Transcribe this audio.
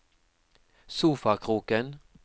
sofakroken